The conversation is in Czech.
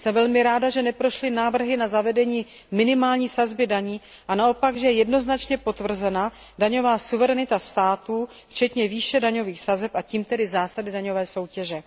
to. Jsem velmi ráda, že neprošly návrhy na zavedení minimální sazby daní, a naopak, že je jednoznačně potvrzena daňová suverenita států, včetně výše daňových sazeb, a tím tedy zásady daňové soutěže.